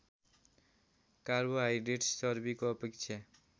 carbohydrates चर्बीको अपेक्षा